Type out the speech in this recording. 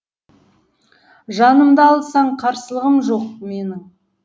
жанымды алсаң қарсылығым жоқ менің